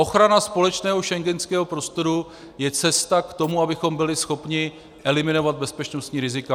Ochrana společného schengenského prostoru je cesta k tomu, abychom byli schopni eliminovat bezpečnostní rizika.